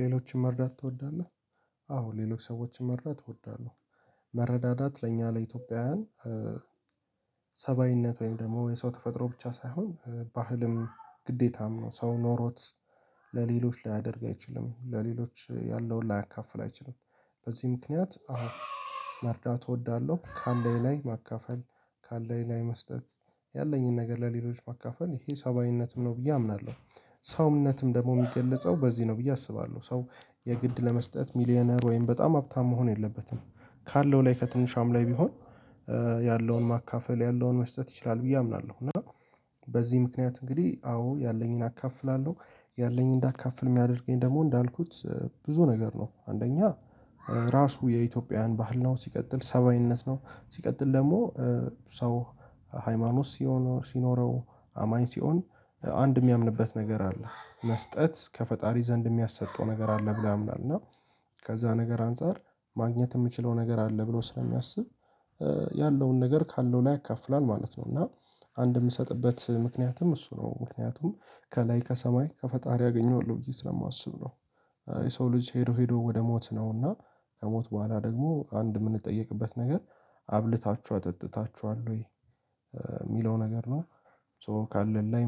ሌሎችን መርዳት ትወዳለህ? አዎ ሌሎች ሰዎችን መርዳት እወዳለሁ። መረዳዳት ለእኛ ለኢትዮጵያውያን ሰብአዊነት ወይም ደግሞ የሰው ተፈጥሮ ብቻ ሳይሆን ባህልም፣ ግዴታም ነው። ሰው ኖሮት ለሌሎች ላያደርግ አይችልም፣ ለሌሎች ያለውን ላያካፍል አይችልም። በዚህ ምክንያት አሁን መርዳት እወዳለሁ። ካለኝ ላይ ማካፈል፣ ካለኝ ላይ መስጠት፣ ያለኝን ነገር ለሌሎች ማካፈል ይሄ ሰብአዊነትም ነው ብዬ አምናለሁ። ሰውነትም ደግሞ የሚገለጸው በዚህ ነው ብዬ አስባለሁ ሰው የግድ ለመስጠት ሚሊየነር ወይም በጣም ሀብታም መሆን የለበትም። ካለው ላይ ከትንሿም ላይ ቢሆን ያለውን ማካፈል ያለውን መስጠት ይችላል ብዬ አምናለሁ። እና በዚህ ምክንያት እንግዲህ አዎ ያለኝን አካፍላለሁ። ያለኝን እንዳካፍል የሚያደርገኝ ደግሞ እንዳልኩት ብዙ ነገር ነው። አንደኛ ራሱ የኢትዮጵያን ባህል ነው፣ ሲቀጥል ሰብአዊነት ነው፣ ሲቀጥል ደግሞ ሰው ሃይማኖት ሲኖረው፣ አማኝ ሲሆን አንድ የሚያምንበት ነገር አለ። መስጠት ከፈጣሪ ዘንድ የሚያሰጠው ነገር አለ ብሎ ያምናል እና ከዛ ነገር አንፃር ማግኘት የምችለው ነገር አለ ብሎ ስለሚያስብ ያለውን ነገር ካለው ላይ ያካፍላል ማለት ነው። እና አንድ የምሰጥበት ምክንያትም እሱ ነው። ምክንያቱም ከላይ ከሰማይ ከፈጣሪ አግኝቼዋለሁ ብዬ ስለማስብ ነው። የሰው ልጅ ሄዶ ሄዶ ወደ ሞት ነውና ከሞት በኋላ ደግሞ አንድ የምንጠየቅበት ነገር አብልታችሁ አጠጥታችኋል ወይ? የሚለው ነገር ነው ሶ ካለ ላይ